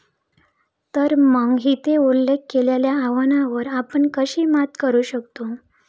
तर मग, येथे उल्लेख केलेल्या आव्हानांवर आपण कशी मात करू शकतो?